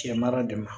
Cɛ mara de ma